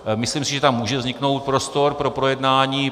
Myslím si, že tam může vzniknout prostor pro projednání.